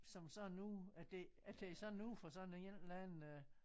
Som sådan noget at det at det er sådan noget fra sådan en eller anden øh